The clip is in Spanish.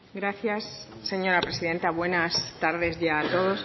gracias señora presidenta buenas tardes ya a todos